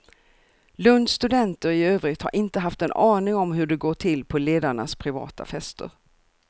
Lunds studenter i övrigt har inte haft en aning om hur det går till på ledarnas privata fester.